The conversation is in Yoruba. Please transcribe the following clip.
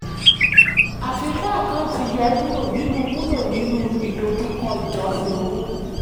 àfikún àkáǹtì yóò wulo nínú wulo nínú ìdojúkọ ìjọsìn owó.